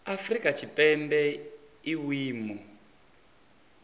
afrika tshipembe i na vhuimo